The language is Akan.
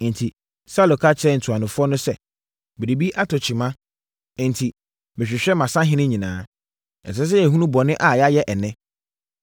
Enti, Saulo ka kyerɛɛ ntuanofoɔ no sɛ, “Biribi atɔ kyima, enti mehwehwɛ mʼasahene nyinaa. Ɛsɛ sɛ yɛhunu bɔne a yɛayɛ ɛnnɛ.